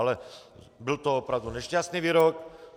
Ale byl to opravdu nešťastný výrok.